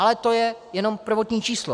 Ale to je jenom prvotní číslo.